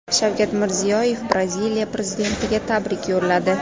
Shavkat Mirziyoyev Braziliya prezidentiga tabrik yo‘lladi.